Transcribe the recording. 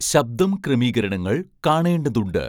ശബ്ദം ക്രമീകരണങ്ങൾ കാണേണ്ടതുണ്ട്